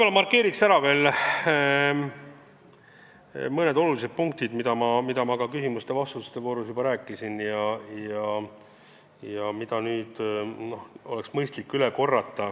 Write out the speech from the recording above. Ma markeeriks veel kord ära mõned olulised punktid, millest ma küsimuste-vastuste voorus juba rääkisin, aga mida oleks mõistlik üle korrata.